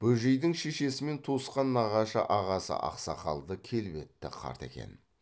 бөжейдің шешесімен туысқан нағашы ағасы ақсақалды келбетті қарт екен